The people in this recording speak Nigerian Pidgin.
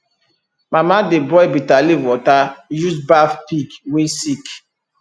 mama dey boil bitterleaf water use baff pig wey sick